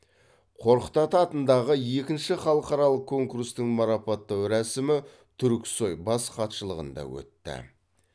қорқыт ата атындағы екінші халықаралық конкурстың марапаттау рәсімі түрксой бас хатшылығында өтті